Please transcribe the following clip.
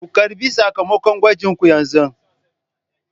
Ku ƙarɓi sakamakon gwajinku yanzun!